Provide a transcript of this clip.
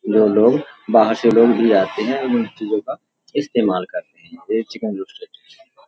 जो लोग बाहर से लोग भी आते हैं और उन चीज़ों का इस्तेमाल करते हैं। वहीं चिकन रोस्टेड --